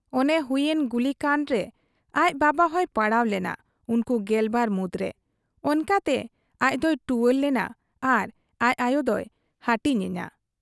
ᱚᱱᱮ ᱦᱩᱭ ᱮᱱ ᱜᱩᱞᱤᱠᱟᱸᱰ ᱨᱮ ᱟᱡ ᱵᱟᱵᱟᱦᱚᱸᱭ ᱯᱟᱲᱟᱣ ᱞᱮᱱᱟ ᱩᱱᱠᱩ ᱜᱮᱞᱵᱟᱨ ᱢᱩᱸᱫᱽᱨᱮ ᱾ ᱚᱱᱠᱟᱛᱮ ᱟᱡᱫᱚᱭ ᱴᱩᱣᱟᱹᱨ ᱞᱮᱱᱟ ᱟᱨ ᱟᱡ ᱟᱭᱚᱫᱚᱭ ᱦᱟᱹᱴᱤᱧ ᱮᱱᱟ ᱾